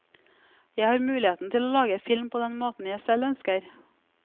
Jeg har muligheten til å lage film på den måten jeg selv ønsker.